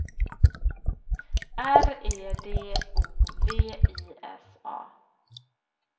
R E D O V I S A